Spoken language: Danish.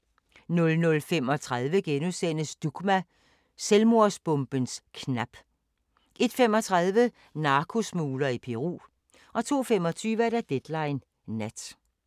00:35: Dugma: Selvmordsbomberens knap * 01:35: Narkosmugler i Peru 02:25: Deadline Nat